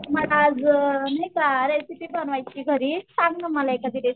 मला आज नाही का रेसिपी बनवायची घरी सांग ना मला एखादी रेसिपी